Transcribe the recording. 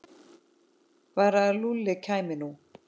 Bara að Lúlli kæmi nú.